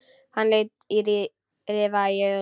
Hann lét rifa í augun.